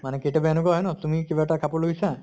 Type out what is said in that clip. মানে কেতিয়াবা এনকা হয় ন তুমি কিবা এটা কাপৰ লৈছা